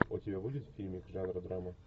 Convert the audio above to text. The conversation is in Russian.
у тебя будет фильмик жанра драма